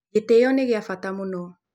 Gĩtĩĩo nĩ gĩa bata mũno.